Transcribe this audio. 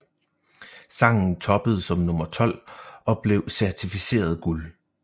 Sangen toppede som nummer 12 og blev certificeret guld